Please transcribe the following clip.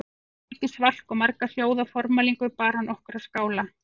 Eftir mikið svalk og marga hljóða formælingu bar okkur að skála